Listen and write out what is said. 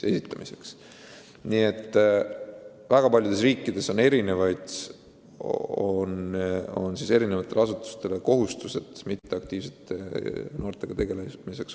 Nii et väga paljudes riikides on eri asutustel kohustus mitteaktiivsete noortega tegeleda olemas.